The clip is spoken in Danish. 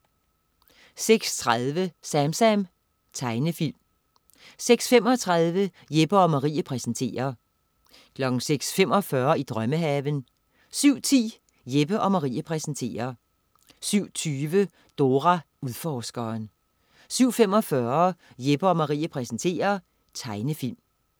06.30 SamSam. Tegnefilm 06.35 Jeppe & Marie præsenterer 06.45 I drømmehaven 07.10 Jeppe & Marie præsenterer 07.20 Dora Udforskeren 07.45 Jeppe & Marie præsenterer. Tegnefilm